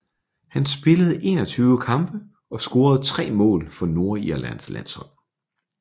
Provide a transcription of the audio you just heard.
Han spillede 21 kampe og scorede tre mål for Nordirlands landshold